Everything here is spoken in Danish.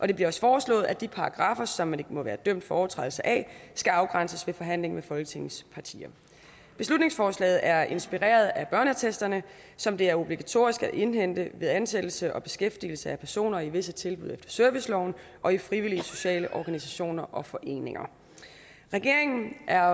det bliver også foreslået at de paragraffer som man ikke må være dømt for en overtrædelse af skal afgrænses ved forhandling med folketingets partier beslutningsforslaget er inspireret af børneattesterne som det er obligatorisk at indhente ved ansættelse og beskæftigelse af personer i visse tilbud efter serviceloven og i frivillige sociale organisationer og foreninger regeringen er